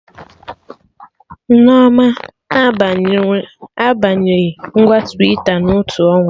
Nnenna abanye nweghị ngwa Ịnstagramụ na otu ọnwa